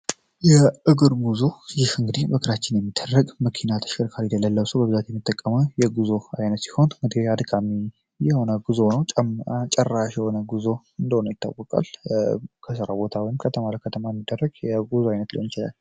ጉዞ እንግዲ መኪና ተሸጉ አይነት ሲሆን ጭራሽ የሆነ ጉዞ እንደሆነ ይታወቃል